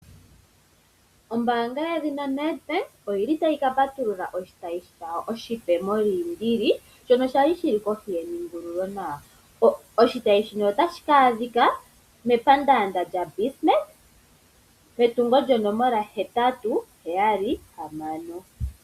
Ombaanga yedhinaNedbank oyili tayi ka patulula oshitayi shawo oshipe moliindili shono shali shili kohi ye ningululo nawa. Oshitayi shino otashi ka adhika mepandaanda lyaBismarck metungo lyonomola hetatu heyali hamano.